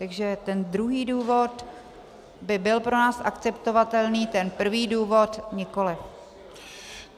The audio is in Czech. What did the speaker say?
Takže ten druhý důvod by byl pro nás akceptovatelný, ten prvý důvod nikoliv.